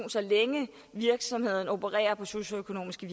længe virksomheden opererer på socialøkonomiske